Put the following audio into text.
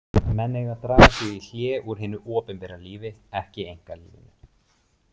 Menn eiga að draga sig í hlé úr hinu opinbera lífi, ekki einkalífinu.